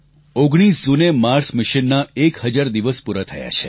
19 જૂને Mars mission ના એક હજાર દિવસ પૂરા થયા છે